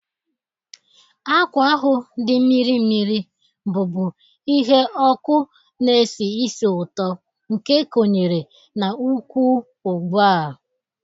Akwa ahụ dị mmiri mmiri, bụ́bu ihe ọkụ na-esi ísì ụtọ, nke ekonyere n'ụkwwụ ugbu a.